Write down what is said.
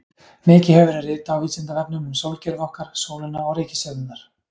Mikið hefur verið ritað á Vísindavefnum um sólkerfið okkar, sólina og reikistjörnurnar.